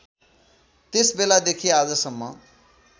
त्यस बेलादेखि आजसम्म